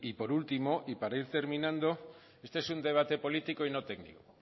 por último y para ir terminando este es un debate político y no técnico